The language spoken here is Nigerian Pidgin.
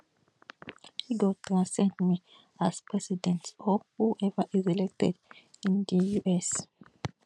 e go transcend me as president or whoever is elected in di us